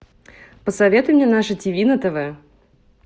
посоветуй мне наше тиви на тв